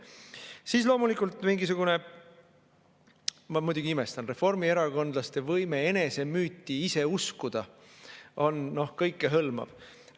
Siis, loomulikult, ma muidugi imestan, aga reformierakondlaste võime enese müüti ise uskuda on kõikehõlmav.